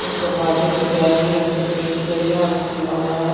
उस दरवाजे पे बैगनी रंग से पैंट किया गया है और वह खुला हुआ है।